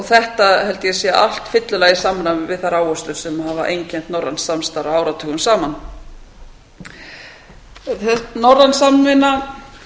þetta held ég að sé allt fyllilega í samræmi við þær áherslur sem hafa einkennt norrænt samstarf áratugum saman norræn samvinna